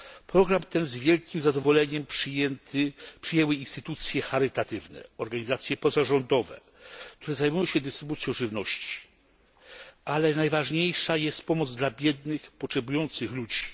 Program ten z wielkim zadowoleniem przyjęły instytucje charytatywne, organizacje pozarządowe, które zajmują się dystrybucją żywności, ale najważniejsza jest pomoc dla biednych, potrzebujących ludzi.